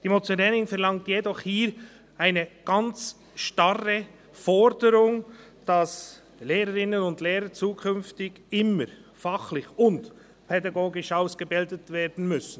Die Motionärin verlangt jedoch hier eine ganz starre Forderung, wonach Lehrerinnen und Lehrer zukünftig immer fachlich und pädagogisch ausgebildet sein müssen.